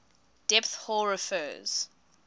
depth hoar refers